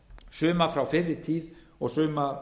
suma frá fyrri tíð og suma